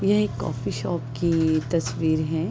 यह एक coffee shop की तस्वीर है।